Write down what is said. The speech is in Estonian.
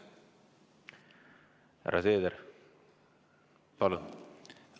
Härra Seeder, palun!